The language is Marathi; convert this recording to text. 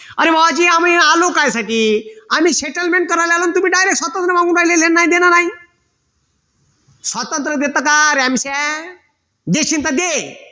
अरे बुवाजी आम्ही आलो कायसाठी आम्ही settlement करायला आलो तुम्ही डायरेक्ट स्वातंत्र मागू राहिले घेणं नाही देणं नाही स्वातंत्र देता का देशील तर दे